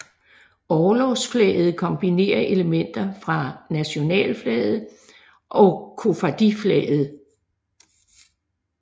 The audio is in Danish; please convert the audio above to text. Orlogsflaget kombinerer elementer fra nationalflaget og koffardiflaget